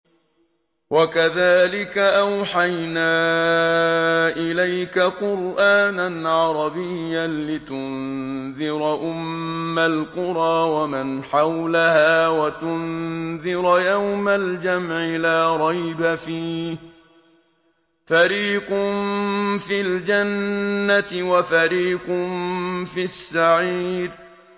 وَكَذَٰلِكَ أَوْحَيْنَا إِلَيْكَ قُرْآنًا عَرَبِيًّا لِّتُنذِرَ أُمَّ الْقُرَىٰ وَمَنْ حَوْلَهَا وَتُنذِرَ يَوْمَ الْجَمْعِ لَا رَيْبَ فِيهِ ۚ فَرِيقٌ فِي الْجَنَّةِ وَفَرِيقٌ فِي السَّعِيرِ